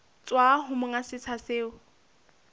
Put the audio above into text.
tswa ho monga setsha seo